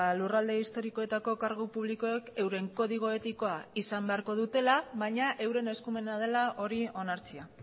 lurralde historikoetako kargu publikoek euren kodigo etikoa izan beharko dutela baina euren eskumena dela hori onartzea